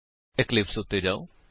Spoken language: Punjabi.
ਇਕਲਿਪਸ ਉੱਤੇ ਜਾਓ